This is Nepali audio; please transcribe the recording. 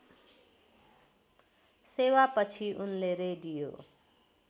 सेवापछि उनले रेडियो